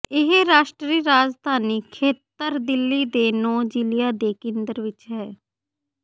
ਇਹ ਰਾਸ਼ਟਰੀ ਰਾਜਧਾਨੀ ਖੇਤਰ ਦਿੱਲੀ ਦੇ ਨੌਂ ਜ਼ਿਲ੍ਹਿਆਂ ਦੇ ਕੇਂਦਰ ਵਿਚ ਹੈ